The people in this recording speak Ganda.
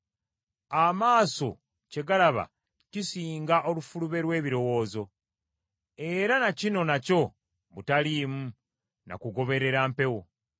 Amaaso kye galaba kisinga olufulube lw’ebirowoozo. Era na kino nakyo butaliimu, na kugoberera mpewo.